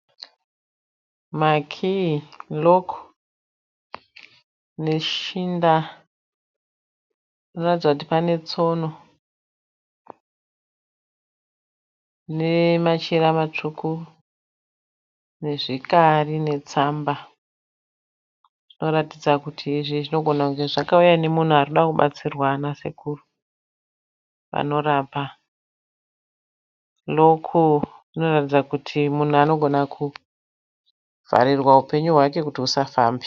Makii ("lock") neshinda. Panoratidza kuti pane tsono nemachira matsvuku nezvikari netsamba. Zvinoratidza kuti izvi zvinogona kunge zvakauya nomunhu ari kuda kubatsirwa nasekuru vanorapa. "Lock" inoratidza kuti munhu anogona kuvharirwa upenyu hwake kuti husafambe.